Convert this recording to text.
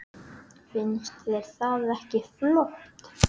Finnst þér það ekki flott?